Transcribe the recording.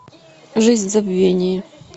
жизнь в забвении